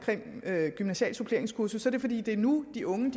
gymnasial suppleringskursus er det fordi det er nu de unge